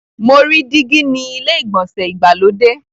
Mo rí dígí ni ilé ìgbọ̀nsẹ̀ ìgbàlódé.